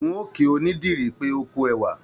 N ò kí onídìrí pé ókú ẹwà